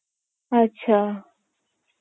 আচ্ছা